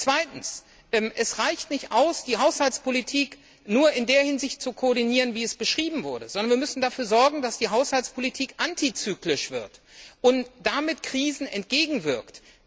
Zweitens, es reicht nicht aus, die Haushaltspolitik nur in der Hinsicht zu koordinieren, wie es beschrieben wurde, sondern wir müssen dafür sorgen, dass die Haushaltspolitik antizyklisch wird und damit Krisen entgegenwirkt.